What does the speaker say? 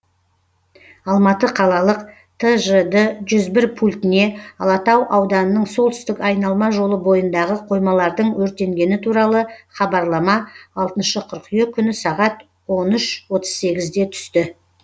алматы қалалық тжд жүз бір пультіне алатау ауданының солтүстік айналма жолы бойындағы қоймалардың өртенгені туралы хабарлама алтыншы қыркүйек күні сағат он үш отыз сегізде түсті